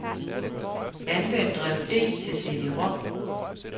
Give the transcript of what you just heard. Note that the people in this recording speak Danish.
Anvend drev D til cd-rom.